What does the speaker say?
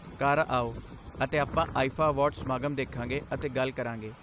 ਘਰ ਆਓ ਅਤੇ ਆਪਾਂ ਆਈਫਾ ਅਵਾਰਡ ਸਮਾਗਮ ਦੇਖਾਂਗੇ ਅਤੇ ਗੱਲ ਕਰਾਂਗੇ।